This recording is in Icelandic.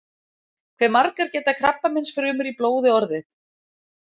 hve margar geta krabbameinsfrumur í blóði orðið